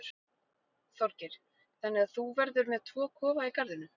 Þorgeir: Þannig að þú verður með tvo kofa í garðinum?